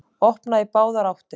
Opnað í báðar áttir